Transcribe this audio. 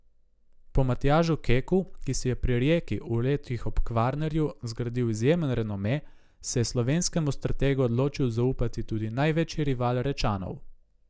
Po Matjažu Keku, ki si je pri Rijeki v letih ob Kvarnerju zgradil izjemen renome, se je slovenskemu strategu odločil zaupati tudi največji rival Rečanov.